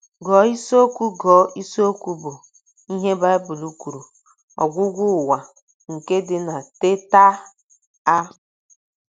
Gụọ isiokwu Gụọ isiokwu bụ́ “ Ihe Baịbụl Kwuru — Ọgwụgwụ Ụwa, ” nke dị na Teta! a.